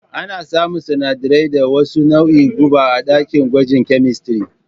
Ana samun sanadarai da wasu nauin guba a ɗakin gwaji kyemistiri